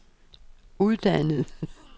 uddannet